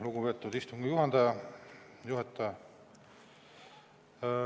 Lugupeetud istungi juhataja!